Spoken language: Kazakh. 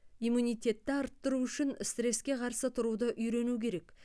иммунитетті арттыру үшін стреске қарсы тұруды үйрену керек